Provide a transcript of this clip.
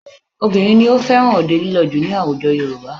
Obìnrin ni ó fẹ́ràn òde lílọ jù ní àwùjọ Yorùbá